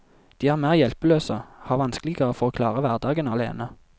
De er mer hjelpeløse, har vanskeligere for å klare hverdagen alene.